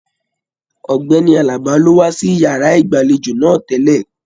Ọgbẹni Àlàbá lo wà sí yàrá ìgbàlèjo náà tẹlẹ.